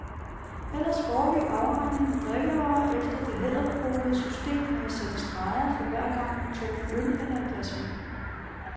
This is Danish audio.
Ellers foregik afregningen af drikkevarer efter det hæderkronede system med at sætte streger for hver gang, man tog en øl eller et glas vin.